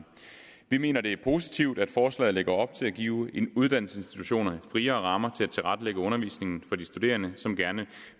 vi mener at det er positivt at forslaget lægger op til at give uddannelsesinstitutionerne friere rammer til at tilrettelægge undervisningen for de studerende som gerne